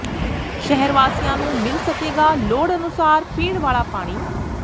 ਸ਼ਹਿਰ ਵਾਸੀਆਂ ਨੂੰ ਮਿਲ ਸਕੇਗਾ ਲੋੜ ਅਨੁਸਾਰ ਪੀਣ ਵਾਲਾ ਪਾਣੀ